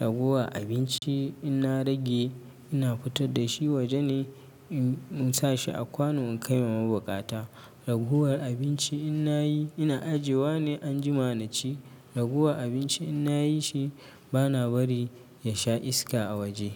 Ragowa abinci ina rage ina fitar da shi waje na in insa shi a kwano in kai wa mabukata. Ragowar abinci ina yi ina ajiyewa ne anjima na ci. Ragowar abinci ina yi shi bana bari ya sha iska a waje.